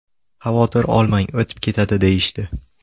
Xavotir olmang, o‘tib ketadi deyishdi.